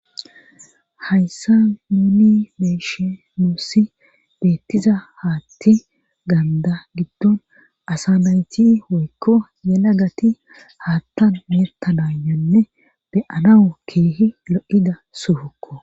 hayssa nuuni beeshi nussi beettiza haatti gaanda giddon asanayti hoykko yela gati haattan mertanayonne beyanawu keehi lo7ida sufokko